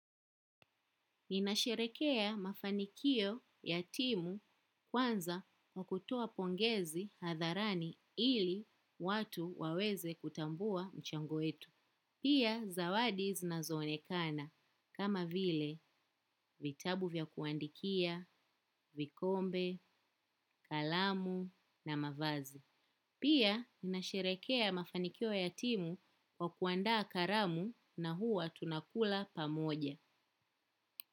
Ninasherehekea mafanikio ya timu kwanza kwa kutoa pongezi hadharani ili watu waweze kutambua mchango wetu. Pia zawadi zinazoonekana kama vile vitabu vya kuandikia, vikombe, kalamu na mavazi. Pia ninasherehekea mafanikio ya timu kwa kuandaa karamu na huwa tunakula pamoja.